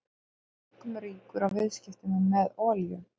Hann varð einkum ríkur á viðskiptum með olíu.